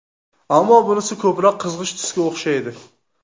Ammo bunisi ko‘proq qizg‘ish tusga o‘xshaydi.